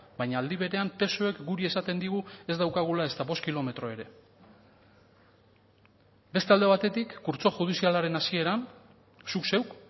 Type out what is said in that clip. baina aldi berean psoek guri esaten digu ez daukagula ezta bost kilometro ere beste alde batetik kurtso judizialaren hasieran zuk zeuk